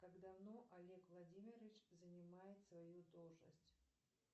как давно олег владимирович занимает свою должность